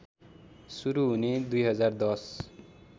सुरु हुने २०१०